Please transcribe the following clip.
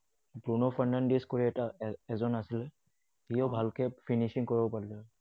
ব্ৰুন Fernandes কৈ এটা এজন আছিলে, সিও ভালকৈ finishing কৰিব পাৰিলেহেঁতেন।